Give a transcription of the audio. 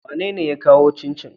Wanene ya kawo cincin?